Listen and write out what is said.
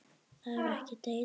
Það er ekki della.